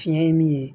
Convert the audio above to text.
Fiɲɛ ye min ye